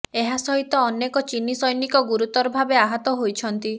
ଏହା ସହିତ ଅନେକ ଚୀନୀ ସୈନିକ ଗୁରୁତର ଭାବେ ଆହତ ହୋଇଛନ୍ତି